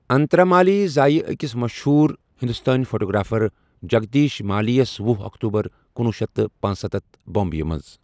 انترا مالی زایہ أکِس مشہوٗر ہِنٛدوستٲنۍ فوٹوگرافر جگدیٖش مالی یس وُہ اکتوبر کنوُہ شیتھ تہٕ پنسَتتھ بمبیہِ منٛز ۔